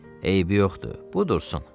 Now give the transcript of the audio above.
Eybi yoxdur, bu dursun.